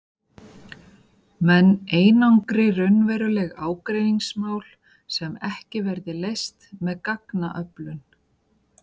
Menn einangri raunveruleg ágreiningsmál sem ekki verði leyst með gagnaöflun.